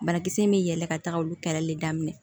Banakisɛ min bɛ yɛlɛ ka taga olu kɛlɛli daminɛ